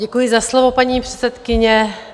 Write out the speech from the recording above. Děkuji za slovo, paní předsedkyně.